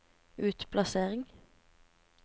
utplassering